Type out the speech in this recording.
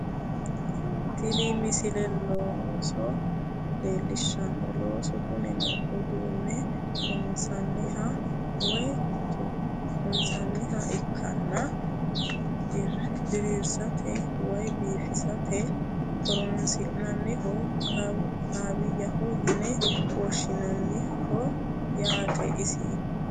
Tini misile looso leellishshanno loosu kunino uduunne loonsanniha woye tokkonsanniha ikkanna diriirsate woye biifisate horonsi'nanniho kaawiyyaho yine woshshinanniho yaate isi